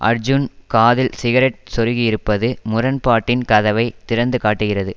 அர்ஜூன் காதில் சிகரெட் சொறுகியிருப்பது முரண்பாட்டின் கதவை திறந்து காட்டுகிறது